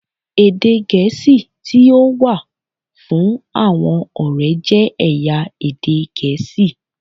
Èdè Gẹ̀ẹ́sì tí ó wà fún àwọn ọ̀rẹ́ jẹ́ ẹ̀yà èdè Gẹ̀ẹ́sì.